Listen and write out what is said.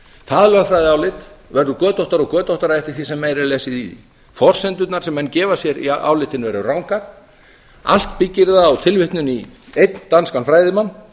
það lögfræðiálit verður götóttara og götóttara eftir því sem meira er lesið í því forsendurnar sem menn gefa sér í álitinu eru rangar allt byggir það á tilvitnun í einn danskan fræðimann